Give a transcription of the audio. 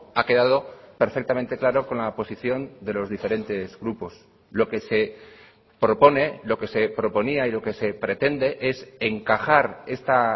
ha quedado perfectamente claro con la posición de los diferentes grupos lo que se propone lo que se proponía y lo que se pretende es encajar esta